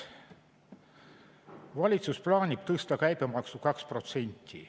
Valitsus plaanib tõsta käibemaksu 2%.